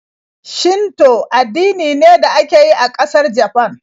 Shinto addini ne da ake yi a ƙasar Japan.